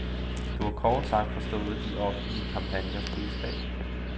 Du har kort sagt forstået de offentlige kampagners budskab.